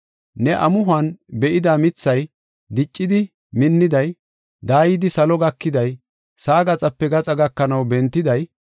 Ne amuhon be7ida mithay, diccidi minniday, daayidi salo gakiday, sa7a gaxape gaxa gakanaw bentiday,